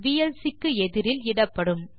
VLC க்கு எதிரில் இடப்படும்